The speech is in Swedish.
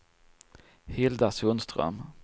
Hilda Sundström